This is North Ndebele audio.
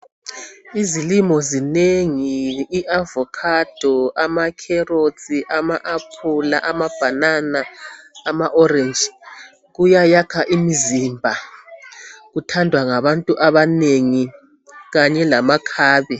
Izilimo zinengi iavocado, amacarrot, ama aphula, amabanana, amaorange. Kuyayakha imzimba, kuthandwa ngabantu abanengi kanye lamakhabe.